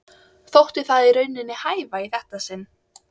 Þótti það í rauninni hæfa í þetta sinn.